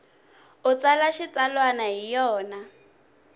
u tsala xitsalwana hi yona